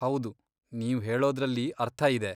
ಹೌದು, ನೀವ್ ಹೇಳೋದ್ರಲ್ಲಿ ಅರ್ಥ ಇದೆ.